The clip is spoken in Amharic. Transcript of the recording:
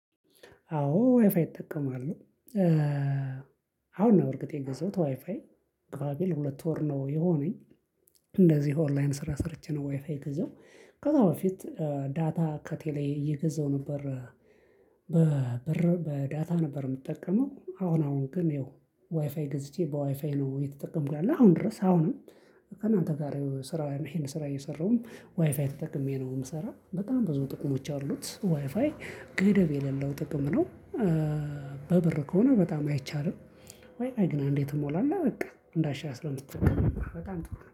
አዎ ዋይፋይ ይጠቀማሉ አሁን ነው እርግጥ የገዛሁት ዋይፋይ ግባቤ ለሁለት ወር ነው። የሆነኝ እንደዚህ ኦንላይን ስራ ሰርቼ ነው። ወይፋዬ ገዘው ከዛ በፊት ዳታ ከቴሌ እየገዛሁ ነበር። በበር በዳታ ነበር የምጠቀመው። አሁን አሁን ግን ይኸው ዋይፋይ ገዝቼ በዋይፋይ ነው የተጠቀምኩኝ። አሁን ድረስ አሁንም አንተ ጋር ስራ ይሄን ስራ እየሰራሁም ዋይፋይ ተጠቅሜ ነው የምሰራው። በጣም ብዙ ጥቅሞች አሉት ዋይፋይ ገደብ የሌለው ጥቅም ነው። በብር ከሆነ በጣም አይቻልም ወይ ግን እንዴት እሞላለሁ? በቃ እንዳሻሽ አስራ ስምንት ጥቅም ነው በጣም